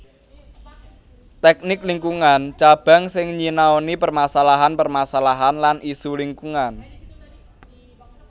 Tèknik Lingkungan Cabang sing nyinaoni permasalahan permasalahan lan isu lingkungan